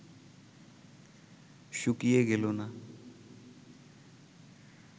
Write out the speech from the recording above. শুকিয়ে গেল না